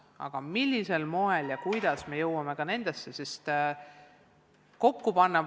Aga millisel moel ja kuidas me saame neid asju kokku panna, seda peab veel otsustama.